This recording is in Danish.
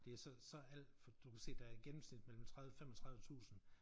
Det er så så alt for du kan se der i gennemsnit mellem 30 35 tusind